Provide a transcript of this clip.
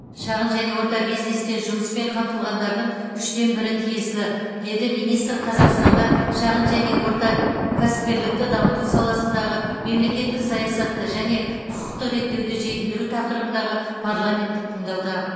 шағын және орта бизнесте жұмыспен қамтылғандардың үштен бірі тиесілі деді министр қазақстанда шағын және орта кәсіпкерлікті дамыту саласындағы мемлекеттік саясатты және құқықтық реттеуді жетілдіру тақырыбындағы парламенттік тыңдауда